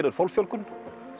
er fólksfjölgun